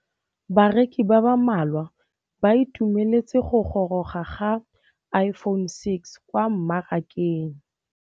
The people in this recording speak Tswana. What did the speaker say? Bareki ba ba malwa ba ituemeletse go gôrôga ga Iphone6 kwa mmarakeng.